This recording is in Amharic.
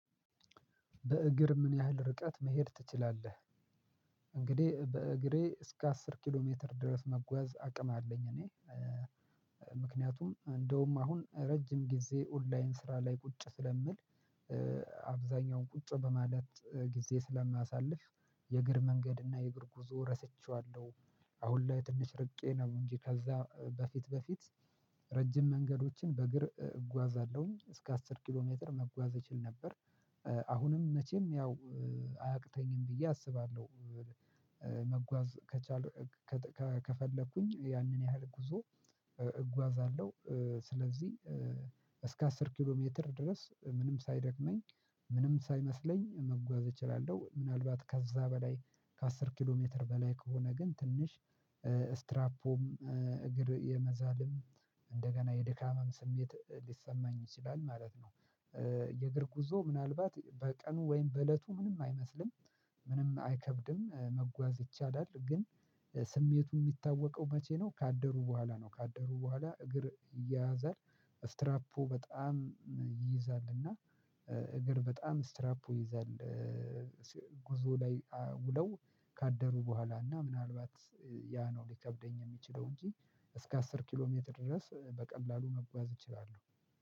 በእግር ምን ያህል ርቀት መሄድ ትችላለህ? እንግዲህ በእግሬ እስከ አስር ኪሎ ሜትር ድረስ መጓዝ አቅም አለኝ እኔ። ምክንያቱም እንደውም አሁን ረጅም ጊዜ ኦንላይን ስራ ላይ ቁጭ ስለምል። አብዛኛውን ቁጭ በማለት ጊዜ ስለማሳልፍ የእግር መንገድ እና የእግር ጉዞ ረስቸዋለሁ። አሁን ላይ ትንሽ ርቄ ነው እንጂ ከዛ በፊት በፊት። ረጅም መንገዶችን በእግር እጓዛለሁኝ እስከ አስር ኪሎ ሜትር መጓዝ እችል ነበር። አሁንም መቼም ያው አያቅተኝም ብዬ አስባለሁ። መጓዝ ከቻልኩ ከፈለኩኝ ያንን ያህል ጉዞ። እጓዛለሁ ስለዚህ እስከ አስር ኪሎ ሜትር ድረስ ምንም ሳይደክመኝ ምንም ሳይመስለኝ መጓዝ እችላለሁ። ምናልባት ከዛ በላይ ከአስር ኪሎ ሜትር በላይ ከሆነ ግን ትንሽ እስትራፖም እግር የመዛልም እንደገና የድካምም ስሜት ሊሰማኝ ይችላል ማለት ነው። የእግር ጉዞ ምናልባት በቀኑ ወይም በእለቱ ምንም አይመስልም። ምንም አይከብድም መጓዝ ይቻላል ግን። ስሜቱ የሚታወቀው መቼ ነው ካደሩ በኋላ ነው ካደሩ በኋላ እግር ይያያዛል። እስትራፖ በጣም ይይዛል እና እግር በጣም እስትራፖ ይይዛል። ጉዞ ላይ ውለው ካደሩ በኋላ እና ምናልባት ያ ነው ሊከብደኝ የሚችለው እንጂ እስከ አስር ኪሎ ሜትር ድረስ በቀላሉ መጓዝ እችላለሁ።